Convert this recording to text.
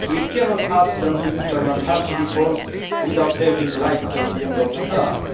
We cannot ask them to implement harsh reforms without having light at the end of the tunnel.